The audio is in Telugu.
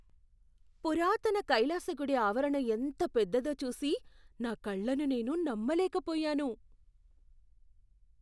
పురాతన కైలాస గుడి ఆవరణ ఎంత పెద్దదో చూసి నా కళ్ళను నేను నమ్మలేకపోయాను.